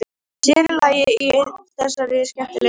Sér í lagi í þessari skemmtilegu deild.